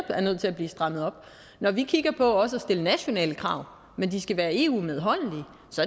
der er nødt til at blive strammet op når vi kigger på også at stille nationale krav men som skal være eu medholdelige